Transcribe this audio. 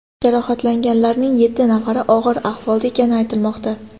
Jarohatlanganlarning yetti nafari og‘ir ahvolda ekani aytilmoqda.